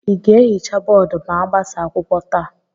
ị ga-ehicha bọọdụ ma agbasaa akwụkwọ taa?